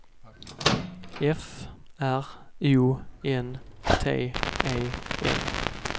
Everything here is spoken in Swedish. F R O N T E N